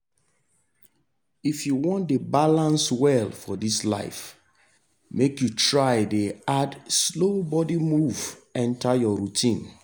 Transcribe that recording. if you wan dey balance well for this life make you try dey add slow body move enter your routine.